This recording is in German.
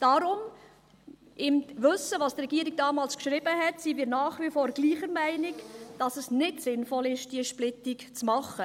Deswegen, im Wissen darum, was die Regierung damals geschrieben hat, sind wir nach wie vor der gleichen Meinung, dass es nicht sinnvoll ist, diese Splittung zu machen.